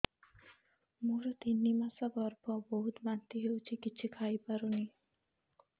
ମୋର ତିନି ମାସ ଗର୍ଭ ବହୁତ ବାନ୍ତି ହେଉଛି କିଛି ଖାଇ ପାରୁନି